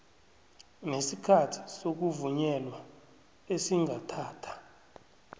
nesikhathi sokuvunyelwa esingathatha